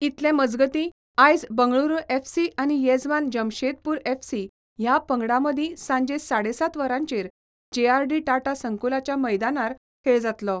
इतले मजगतीं आयज बंगळुरू एफसी आनी येजमान जमशेदपूर एफसी ह्या पंगडां मदीं सांजे साडेसात वरांचेर जेआरडी टाटा संकुलाच्या मैदानार खेळ जातलो.